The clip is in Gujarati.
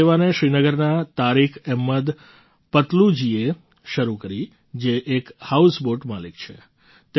આ સેવાને શ્રીનગરના તારિક અહેમદ પતલૂજીએ શરૂ કરી જે એક હાઉસબૉટ માલિક છે